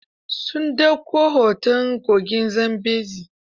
Sun ɗauko hoton kogin Zambezi.